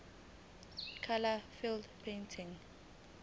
nokho anika umqondo